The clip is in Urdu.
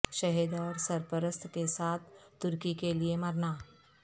شہد اور سرپرست کے ساتھ ترکی کے لئے مرنا